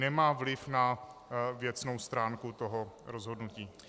Nemá vliv na věcnou stránku toho rozhodnutí.